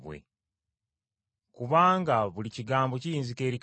Kubanga buli kigambo kiyinzika eri Katonda.”